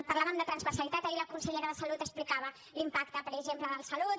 parlàvem de transversalitat ahir la consellera de salut explicava l’impacte per exemple del de salut